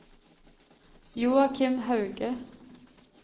Joachim Hauge